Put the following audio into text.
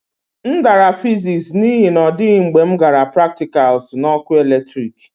M dara fiziks n'ihi na ọ dịghị mgbe m gara praktikals na ọkụ eletrik